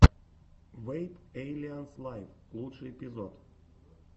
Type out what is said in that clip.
вэйп эйлианс лайв лучший эпизод